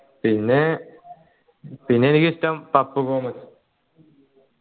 പിന്നെ പിന്നെ എനിക്കിഷ്ടം ഗോമസ്